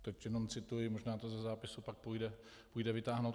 Teď jenom cituji, možná to ze zápisu pak půjde vytáhnout.